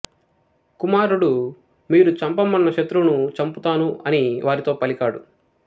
కుమారుడు మీరు చంపమన్న శత్రువును చంపుతాను అని వారితో పలికాడు